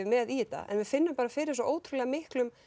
með í þetta en við finnum bara fyrir svo ótrúlega miklum